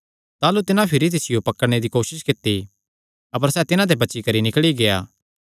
ताह़लू तिन्हां भिरी तिसियो पकड़णे दी कोसस कित्ती अपर सैह़ तिन्हां ते बची करी निकल़ी गेआ